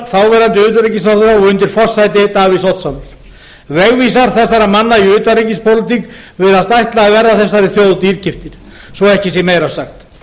halldórs ásgrímssonar þáverandi utanríkisráðherra og undir forsæti davíðs oddssonar vegvísar þessara manna í utanríkispólitík virðast ætla að verða þessari þjóð dýrkeyptir svo ekki sé meira sagt